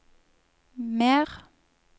mer